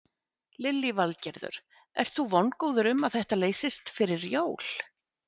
Lillý Valgerður: Ert þú vongóður um að þetta leysist fyrir jól?